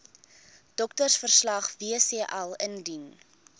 doktersverslag wcl indien